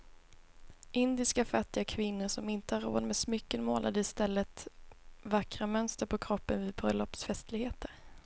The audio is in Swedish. Indiska fattiga kvinnor som inte hade råd med smycken målade i stället vackra mönster på kroppen vid bröllopsfestligheter.